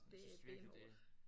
Det er benhårdt